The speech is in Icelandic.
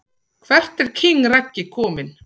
Hvert er king Raggi komin??